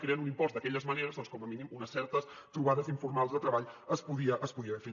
creen un impost d’aquelles maneres doncs com a mínim unes certes trobades informals de treball es podien haver fet